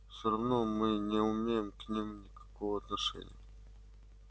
всё равно мы не имеем к ним никакого отношения